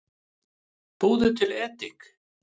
Búðu til edik